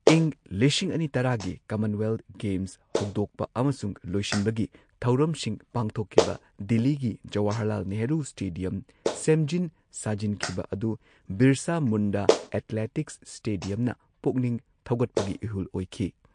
ꯏꯪ ꯂꯤꯁꯤꯡ ꯑꯅꯤ ꯇꯔꯥꯒꯤ ꯀꯃꯟꯋꯦꯜꯊ ꯒꯦꯝꯁ ꯍꯧꯗꯣꯛꯄ ꯑꯃꯁꯨꯡ ꯂꯣꯏꯁꯤꯟꯕꯒꯤ ꯊꯧꯔꯝꯁꯤꯡ ꯄꯥꯡꯊꯣꯛꯈꯤꯕ, ꯗꯤꯜꯂꯤꯒꯤ ꯖꯋꯥꯍꯔꯂꯥꯜ ꯅꯦꯍꯔꯨ ꯁ꯭ꯇꯦꯗꯤꯌꯝ ꯁꯦꯝꯖꯤꯟ ꯁꯥꯖꯤꯟꯈꯤꯕ ꯑꯗꯨ ꯕꯤꯔꯁꯥ ꯃꯨꯟꯗꯥ ꯑꯦꯊꯂꯦꯇꯤꯛꯁ ꯁ꯭ꯇꯦꯗꯤꯌꯝꯅ ꯄꯨꯛꯅꯤꯡ ꯊꯧꯒꯠꯄꯒꯤ ꯏꯍꯨꯜ ꯑꯣꯏꯈꯤ꯫